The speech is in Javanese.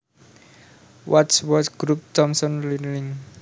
Wadsworth Group Thomson Learning